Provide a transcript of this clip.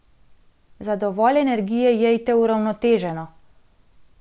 Za dovolj energije jejte uravnoteženo!